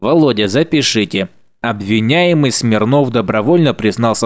володя запишите обвиняемый смирнов добровольно признался